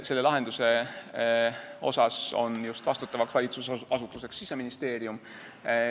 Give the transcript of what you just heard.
Selle lahenduse puhul on vastutav valitsusasutus Siseministeerium.